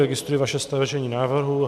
Registruji vaše stažení návrhu.